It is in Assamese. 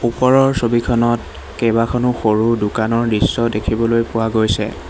ওপৰৰ ছবিখনত কেইবাখনো সৰু দোকানৰ দৃশ্য দেখিবলৈ পোৱা গৈছে।